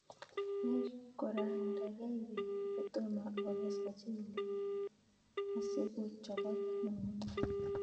Yai korang'dag'ei peek kotomo okes muchelek ksi ko chobok ng'un'unyek